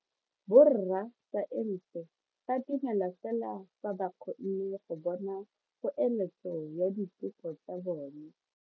Borra saense ba dumela fela fa ba kgonne go bona poeletso ya diteko tsa bone.